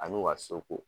A n'u ka so ko